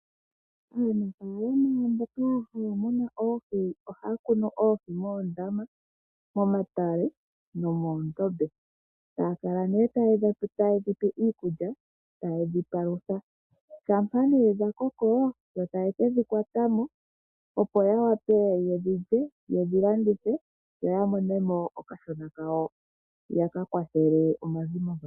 Aanafaalama mboka haya munu oohi ohaya kunu oohi moondama, momatale nomoondombe, taya kala nee taye dhi pe iikulya ta ye dhi palutha, shampa nee dhakoko yo taye ke dhi kwata mo opo ya wape ye dhi landithe yo ya mone mo okashona kawo yakayathele omazimo gawo.